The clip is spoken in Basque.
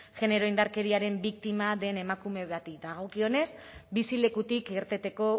genero indarkeriaren biktima den emakume bati dagokionez bizilekutik irteteko